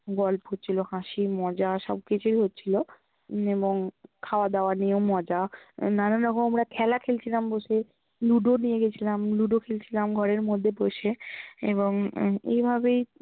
গল্প হচ্ছিল, হাসি, মজা সবকিছুই হচ্ছিল এবং খাওয়া দাওয়া নিয়েও মজা নানান রকম আমরা খেলা খেলছিলাম বসে, লুডু নিয়ে গেছিলাম লুডু খেলছিলাম ঘরের মধ্যে বসে এবং উম এইভাবেই